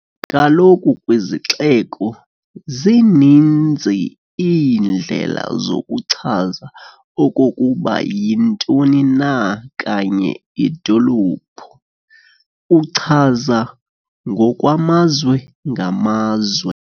Kaloku kwizixeko, zininzi iindlela zokuchaza okokuba iyintoni na kanye idolophu, uchaza ngokwamazwe-ngamazwe.